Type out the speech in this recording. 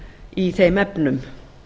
í þeim efnum